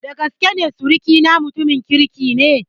Dagaskene sirikina mutumin kirki ne.